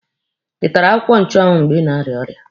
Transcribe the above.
Ị tara akwụkwọ nchụanwụ mgbe ị na-arịa ọrịa?